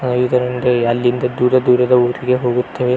ಆ ಇದರ ಮುಂದೆ ಅಲ್ಲಿಂದ ದೂರ ದೂರದ ಊರಿಗೆ ಹೋಗುತ್ತೆ .